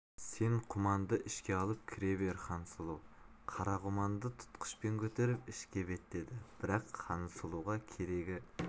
сен құманды ішке алып кіре бер хансұлу қара құманды тұтқышпен көтеріп ішке беттеді бірақ хансұлуға керегі